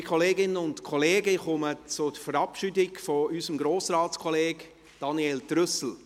Liebe Kolleginnen und Kollegen, ich komme zur Verabschiedung unseres Grossratskollegen Daniel Trüssel.